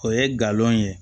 O ye galon ye